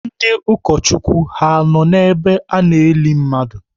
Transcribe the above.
Ndị ụkọchukwu ha nọ n'ebe a na-eli mmadụ?